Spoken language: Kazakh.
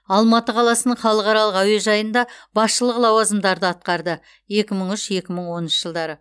алматы қаласының халықаралық әуежайында басшылық лауазымдарды атқарды екі мың үш екі мың оныншы жылдары